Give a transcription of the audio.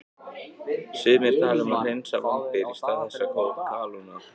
Sumir tala um að hreinsa vambir í stað þess að kalóna.